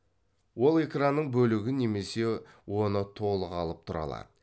ол экранның бөлігін немесе оны толық алып тұра алады